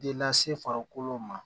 De lase farikolo ma